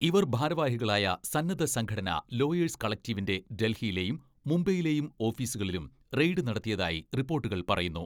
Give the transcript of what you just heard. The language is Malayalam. ഇവർ ഭാരവാഹികളായ സന്നദ്ധ സംഘടന ലോയേഴ്സ് കളക്ടിവീന്റെ ഡൽഹിയിലെയും, മുംബൈയിലെയും ഓഫീസുകളിലും റെയ്ഡ് നടത്തിയതായി റിപ്പോട്ടുകൾ പറയുന്നു.